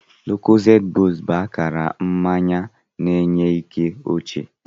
Lucozade boost bụ akara mmanya na-enye ike ochie.